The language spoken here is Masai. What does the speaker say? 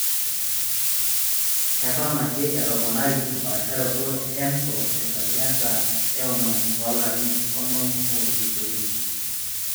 Eton ake etoponari empaasharoto e ENSO tesajata e onom toolarin onom ootulusoitie.